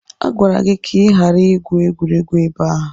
Agwara gị ka ị ghara igwu egwuregwu ebe a!